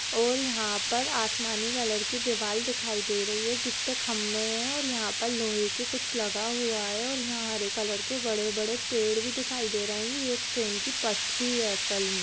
--और यहाँ पर आसमानी कलर की दीवाल दिखाई दे रही है जिसपे खंभे है और यहाँ पर लोहे की कुछ लगा हुआ है और यहाँ हरे कलर के बड़े-बड़े पेड़ भी दिखाई दे रहे है ये ट्रेन की पटरी है असल म।